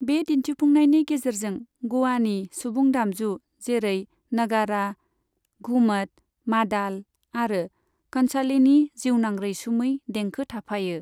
बे दिन्थिफुंनायनि गेजेरजों गोवानि सुबुं दामजु जेरै नगारा, घुमत, मादाल आरो कंसालेनि जिउनां रैसुमै देंखो थाफायो।